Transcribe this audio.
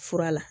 Fura la